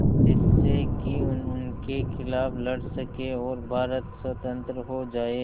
जिससे कि उनके खिलाफ़ लड़ सकें और भारत स्वतंत्र हो जाये